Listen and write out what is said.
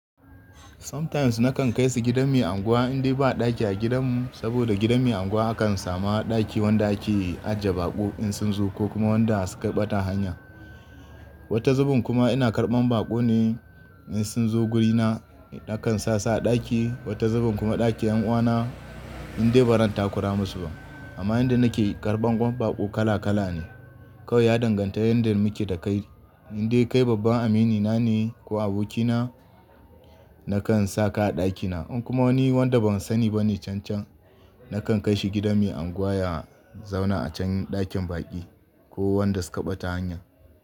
Sometimes nakan kai su gidan mai anguwa indai ba ɗaki a gidanmu, saboda gidan mai anguwa akan samu ɗaki wanda ake ajiye baƙo in sun zo ko kuma wanda suka yi ɓatan hanya. Wata zubin kuma ina karɓan baƙo ne in sun zo guri na, na kan sa su a ɗaki, wata zubin kuma ɗakin 'yan uwana indai ba ran takura masu ba. Amma inda nake karɓan baƙo kala kala ne. Kawai ya danganta yanda muke da kai. Indai kai babban amini na ne ko aboki na, na kan sa ka a ɗakina. In kuma wani wanda ban sani ba ne cancan, nakan kai shi gidan mai anguwa ya zauna a can ɗakin baƙi ko wanda suka ɓata hanya.